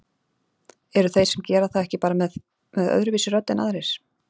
Eru þeir sem gera það ekki bara með með öðruvísi rödd en aðrir?